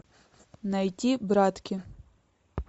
найти братки